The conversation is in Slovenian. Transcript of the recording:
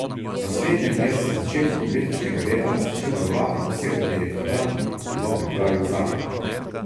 Na slednjem je z začetkom letošnjega leta začel delovati poseben direktorat, ki bo pripravil zakon.